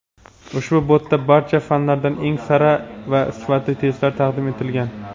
Ushbu botda barcha fanlardan eng sara va sifatli testlar taqdim etilgan.